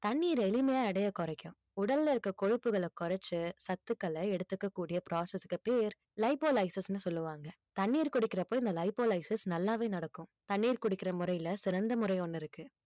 தண்ணீர் எளிமையா எடைய குறைக்கும் உடல்ல இருக்க கொழுப்புகளை குறைச்சு சத்துக்களை எடுத்துக்கக்கூடிய process க்கு பேர் சொல்லுவாங்க தண்ணீர் குடிக்கிறப்ப இந்த நல்லாவே நடக்கும் தண்ணீர் குடிக்கிற முறையில சிறந்த முறை ஒண்ணு இருக்கு